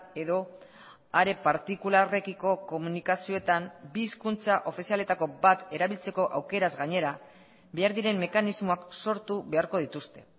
edo are partikularrekiko komunikazioetan bi hizkuntza ofizialetako bat erabiltzeko aukeraz gainera behar diren mekanismoak sortu beharko dituzte